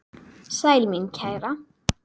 Sæl mín kæra!